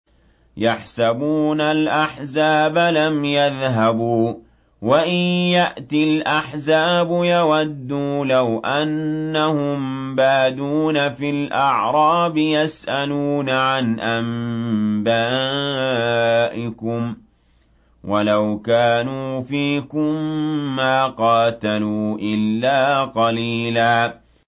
يَحْسَبُونَ الْأَحْزَابَ لَمْ يَذْهَبُوا ۖ وَإِن يَأْتِ الْأَحْزَابُ يَوَدُّوا لَوْ أَنَّهُم بَادُونَ فِي الْأَعْرَابِ يَسْأَلُونَ عَنْ أَنبَائِكُمْ ۖ وَلَوْ كَانُوا فِيكُم مَّا قَاتَلُوا إِلَّا قَلِيلًا